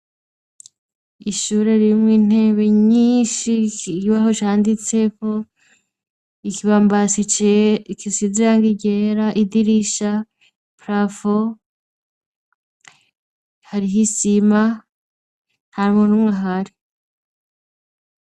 Ishure ririmwo intebe nyinshi, ikibaho canditseko, ikibambasi gisize irangi ryera, idirisha, parafo, hariho isima ntamuntu n'umwe ahari.